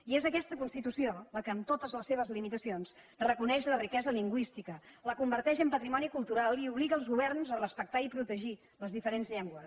i és aquesta constitució la que amb totes les seves limitacions reconeix la riquesa lingüística la converteix en patrimoni cultural i obliga els governs a respectar i protegir les diferents llengües